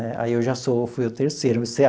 Né aí eu já sou fui o terceiro.